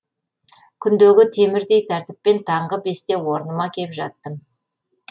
күндегі темірдей тәртіппен таңғы бесте орныма кеп жаттым